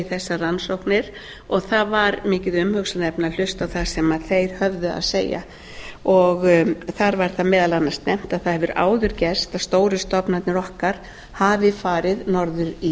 vegar rannsóknir og það var mikið umhugsunarefni að hlusta á það sem þeir höfðu að segja þar var það meðal annars nefnt að það hefur áður gerst að stóru stofnarnir okkar hafi farið norður í